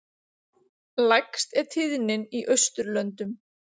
Lægst er tíðnin í Austurlöndum.